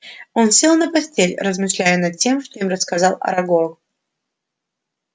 он сел на постель размышляя над тем что им рассказал арагог